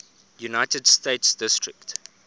united states district